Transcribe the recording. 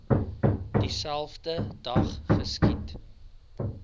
dieselfde dag geskiet